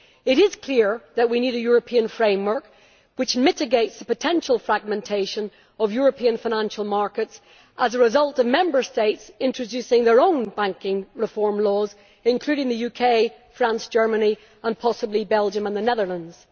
It is clear that we need a European framework which mitigates the potential fragmentation of European financial markets as a result of Member States introducing their own banking reform laws, including the UK, France, Germany and possibly Belgium and the Netherlands.